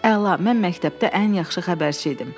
Əla, mən məktəbdə ən yaxşı xəbərçi idim.